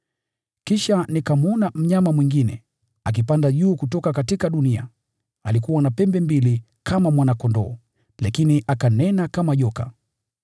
Kisha nikamwona mnyama mwingine, akipanda juu kutoka dunia. Alikuwa na pembe mbili kama mwana-kondoo, lakini akanena kama joka.